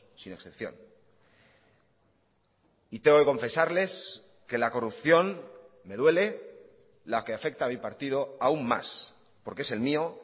sin excepción y tengo que confesarles que la corrupción me duele la que afecta a mi partido aun más porque es el mío